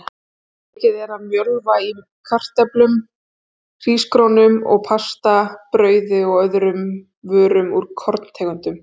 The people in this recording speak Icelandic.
Mikið er af mjölva í kartöflum, hrísgrjónum og pasta, brauði og öðrum vörum úr korntegundum.